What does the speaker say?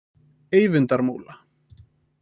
Eyvindarmúla